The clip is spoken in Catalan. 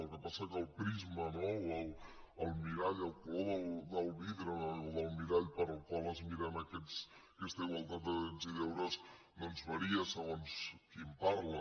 el que passa és que el prisma no el mirall el color del vidre o del mirall pel qual es mira aquesta igualtat de drets i deures doncs varia segons qui en parla